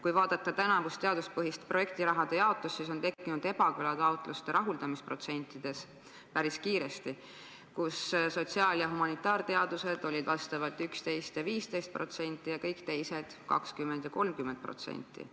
Kui vaadata tänavust teaduspõhist projektiraha jaotust, siis on tekkinud taotluste rahuldamise protsentides päris kiiresti ebakõla – sotsiaal- ja humanitaarteadused olid vastavalt 11% ja 15%, kõik teised aga 20% ja 30%.